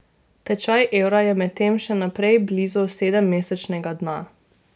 Tečaj evra je medtem še naprej blizu sedemmesečnega dna.